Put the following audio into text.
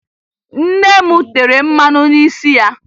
Nne m tere mmanụ n'isi ya